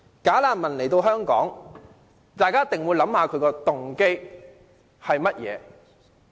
"假難民"來到香港，大家一定要思考他們的動機為何。